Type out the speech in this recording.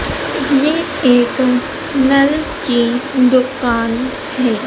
ये एक नल की दुकान है।